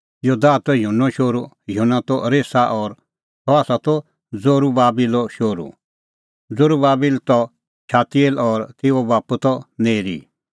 योदाह त युहन्नो शोहरू युहन्ना त रेसा और सह त जरूबाबिलो शोहरू जरूबाबिल त शालतिएल और तेऊओ बाप्पू त नेरी